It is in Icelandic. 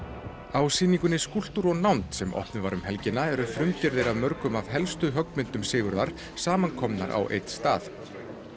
á sýningunni skúlptúr og nánd sem opnuð var um helgina eru frumgerðir af mörgum af hans helstu útilistaverkum samankomin á einn stað